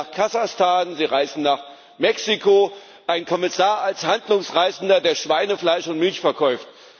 Sie reisen nach Kasachstan, Sie reisen nach Mexiko ein Kommissar als Handlungsreisender, der Schweinefleisch und Milch verkauft.